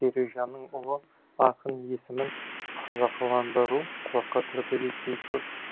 бережанның ұлы ақын есімін қазақыландыруы құлаққа түрпідей тиіп тұр